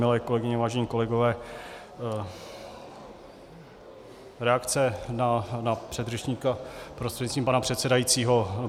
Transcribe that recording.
Milé kolegyně, vážení kolegové, reakce na předřečníka prostřednictvím pana předsedajícího.